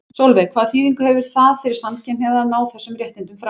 Sólveig: Hvaða þýðingu hefði það fyrir samkynhneigða að ná þessum réttindum fram?